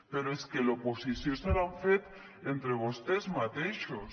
però és que l’oposició se l’han fet entre vostès mateixos